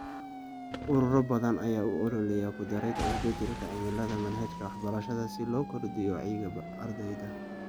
Ururo badan ayaa u ololeeya ku darida isbedelka cimilada manhajka waxbarashada si loo kordhiyo wacyiga ardayda.